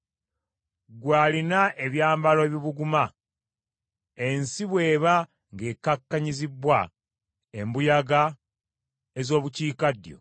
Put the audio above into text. Ggwe alina ebyambalo ebibuguma, ensi bw’eba ng’ekkakkanyizibbwa embuyaga ez’obukiikaddyo,